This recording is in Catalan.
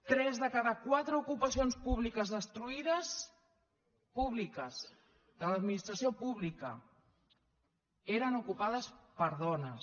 tres de cada quatre ocupacions públiques destruïdes públiques de l’administració pública eren ocupades per dones